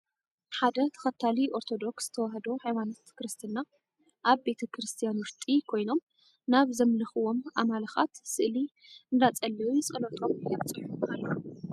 ሓደ ተከታሊ ኦርቶዶክስ ተዋህዶ ሃይማኖት ክርስትና ኣብ ቤተ ክርስትያን ውሽጢ ኮይኖም ናብ ዘምልክዎም ኣምልኣካት ስእሊ እንዳፀለዩ ፀሎቶም የብፅሑ አለዉ ።